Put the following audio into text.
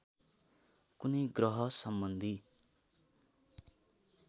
कुनै ग्रह सम्बन्धी